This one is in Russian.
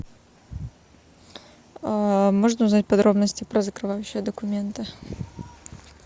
можно узнать подробности про закрывающие документы